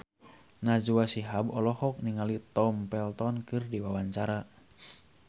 Najwa Shihab olohok ningali Tom Felton keur diwawancara